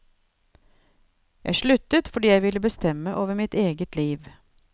Jeg sluttet fordi jeg vil bestemme over mitt eget liv.